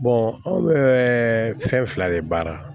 anw bɛ fɛn fila de baara